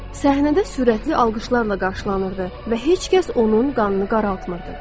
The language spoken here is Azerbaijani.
Səhnədə sürətli alqışlarla qarşılanırdı və heç kəs onun qanını qaraltmırdı.